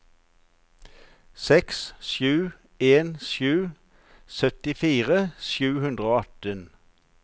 seks sju en sju syttifire sju hundre og atten